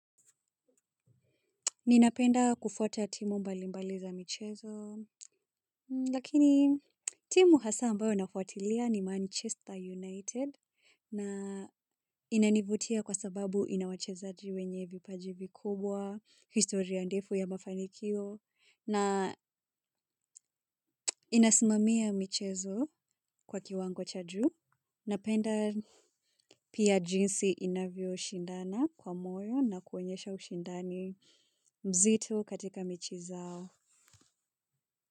Ninapenda kufauta timu mbalimbali za michezo, lakini timu hasa ambayo nafuatilia ni Manchester United na inanivutia kwa sababu inawachezaji wenye vipaji vikubwa, historia ndefu ya mafanikio na inasmamia michezo kwa kiwango cha juu. Napenda pia jinsi inavyo shindana kwa moyo na kuonyesha ushindani mzito katika mechi zao.